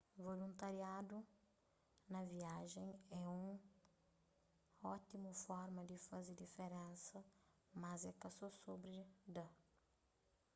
voluntariadu na viajen é un ótimu forma di faze diferensa mas é ka so sobri da